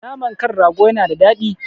Naman kan rago yana da daɗi